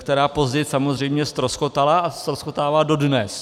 Ta později samozřejmě ztroskotala a ztroskotává dodnes.